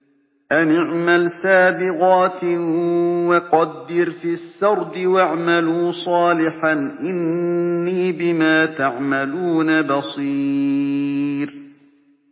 أَنِ اعْمَلْ سَابِغَاتٍ وَقَدِّرْ فِي السَّرْدِ ۖ وَاعْمَلُوا صَالِحًا ۖ إِنِّي بِمَا تَعْمَلُونَ بَصِيرٌ